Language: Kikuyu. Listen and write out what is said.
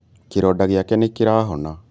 Kĩronda gĩake nĩkĩrahona